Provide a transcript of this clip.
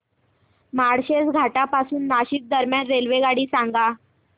माळशेज घाटा पासून नाशिक दरम्यान रेल्वेगाडी सांगा